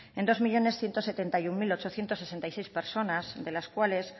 en dos millónes ciento setenta y uno mil ochocientos sesenta y seis personas de las cuales